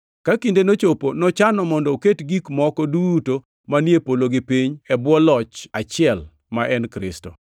ka kindeno nochopi nochano mondo oket gik moko duto manie polo gi piny e bwo loch achiel, ma en Kristo.